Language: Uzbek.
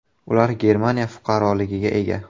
Ular Germaniya fuqaroligiga ega.